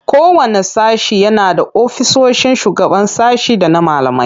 Kowanne sashe yana da ofisoshin shugaban sashe da na malamai.